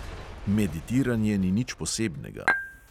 Meditiranje ni nič posebnega.